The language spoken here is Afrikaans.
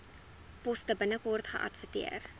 poste binnekort geadverteer